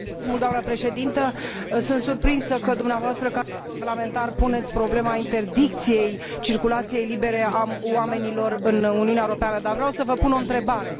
Doamnă președinte, sunt surprinsă că dumneavoastră, ca europarlamentar, puneți problema interdicției circulației libere a oamenilor în Uniunea Europeană, dar vreau să vă pun o întrebare.